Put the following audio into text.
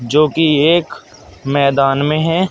जो कि एक मैदान में है।